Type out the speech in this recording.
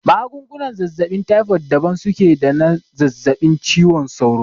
Magungunan zazzaɓin taifod daban suke da na zazzaɓin ciwon sauro